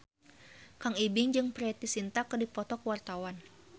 Kang Ibing jeung Preity Zinta keur dipoto ku wartawan